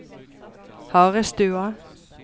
Harestua